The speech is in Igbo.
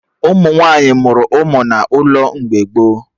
Ụmụ nwaanyị mụrụ ụmụ n'ụlọ mgbe gboo